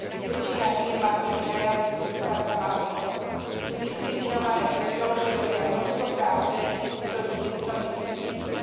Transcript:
Väčšina žien má totiž aj ambíciu stať sa matkou. Sú diskriminované pre to, že robia množstvo práce, ktorú nikto nechce vidieť.